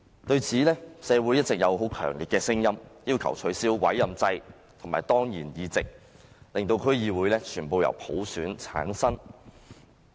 對此，社會一直有很強烈的聲音，要求取消委任制和當然議席，令區議會全部議席均由普選產生。